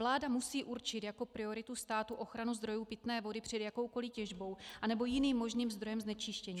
Vláda musí určit jako prioritu státu ochranu zdrojů pitné vody před jakoukoli těžbou anebo jiným možným zdrojem znečištění.